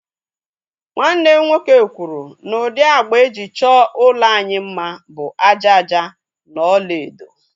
Nwanne m nwoke kwuru na ụdị agba e ji chọọ ụlọ anyị mma bụ ájá ájá na ọlaedo